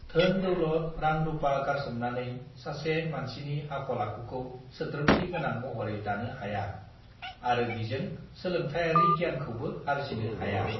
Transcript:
धोन दौलत रां रूपा गारसोमनानै सासे मानसिनि आखल आखुखौ सोद्रोमथि गोनां महरै दानो हाया आरो बिजों सोलोंथायारी गियानखौबो आर्जिनो हाया